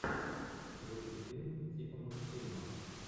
включи фильм типа мультфильма